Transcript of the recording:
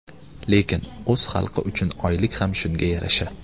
Lekin o‘z xalqi uchun oylik ham shunga yarasha.